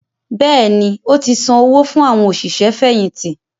Bẹ́ẹ̀ni, ó ti san owó fún “ àwọn òṣìṣẹ́ fẹ̀yìntì”